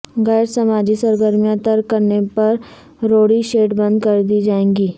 غیر سماجی سرگرمیاں ترک کرنے پر روڈی شیٹ بند کردی جائے گی